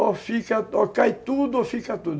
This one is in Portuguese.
Ou cai tudo ou fica tudo.